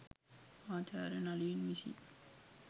ආචාර්ය නලින් විසින්